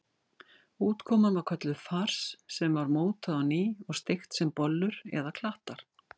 Útkoman var kölluð fars sem var mótað á ný og steikt sem bollur eða klattar.